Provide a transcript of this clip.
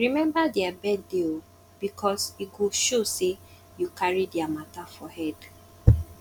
remember dia birthday um bikos e go show sey yu cari dia mata for head